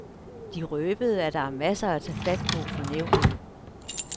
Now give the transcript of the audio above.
De røbede, at der er masser at tage fat på for nævnet.